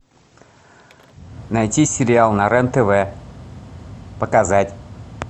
найти сериал на рен тв показать